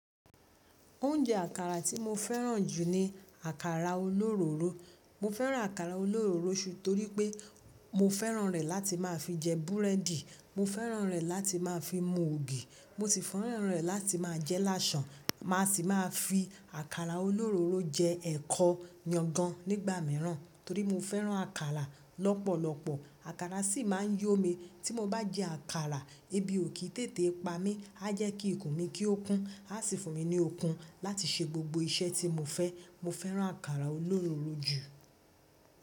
Oúnjẹ àkàrà tí mo fẹ́ràn jù ni àkàrà olóró. Mo fẹ́ràn àkàrà olóróro torí pé mo fẹ́ràn rẹ̀ láti máa fi jẹ búrẹ́dì, mo fẹ́ràn rẹ̀ láti máa fi mu ògì, mo sì fẹ́ràn rẹ̀ láti máa jẹ́ lásàn. Máa sì máa fi àkàrà olororo jẹ ẹ̀kọ yangan nígbà míràn torí mo fẹ́ràn àkàrà lọ́pọ̀lọpọ̀. Àkàrà sì máa ń yó mi tí mo bá jẹ àkàrà ebi ò kì í tètè pa mí. A jẹ́ kí ikùn mi kí ó kún, a sì fún mi ní okun láti ṣe gbogbo iṣẹ́ tí mo fẹ́. Mo fẹ́ràn àkàrà olóró jù.